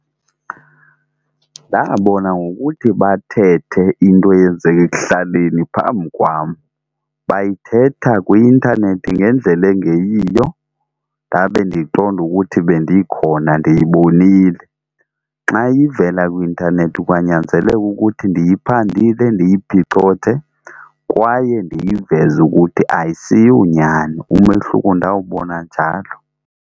Ndabona ngokuthi bathethe into eyenzeke ekuhlaleni phambi kwam, bayithetha kwi-intanethi ngendlela engeyiyo ndabe ndiqonda ukuthi bendikhona ndiyibonile. Xa ivela kwi-intanethi kwanyanzeleka ukuthi ndiyiphandile, ndiyiphicothe kwaye ndiyiveze ukuthi ayisiyonyani. Umehluko ndawubona njalo.